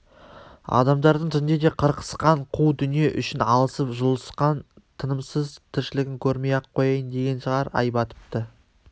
адамдардың түнде де қырқысқан қу дүние үшін алысып-жұлысқан тынымсыз тіршілігін көрмей-ақ қояйын деген шығар ай батыпты